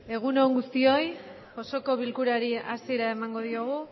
egun on guztioi osoko bilkurari hasiera emango diogu